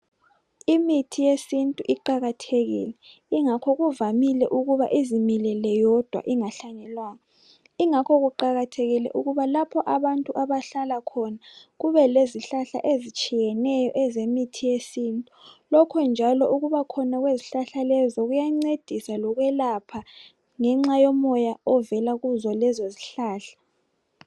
Imithi yesintu iqakathekile ingakho kuvamile ukuba izimilele yodwa ingahlanyelwanga. Ingakho kuqakathekile ukuba lapho abantu abahlala khona kube lezihlahla ezitshiyeneyo ezemithi yesintu. Lokhu njalo ukubakhona kwezihlahla lezinkuyancedisa lokwelapha ngenxa yomoya ovela lezo lezozihlahla